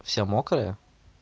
вся мокрая